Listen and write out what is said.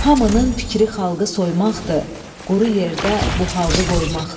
Hamının fikri xalqı soymaqdır, quru yerdə bu xalqı qoymaqdır.